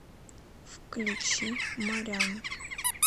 включи морян